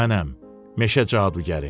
Mənəm, meşə cadugəri.